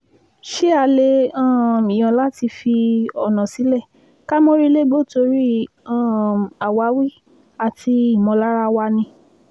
ṣé a lè um yàn láti fi ọ̀nà sílẹ̀ ká mórí légbó torí um àwáwí àti ìmọ̀lára wa ni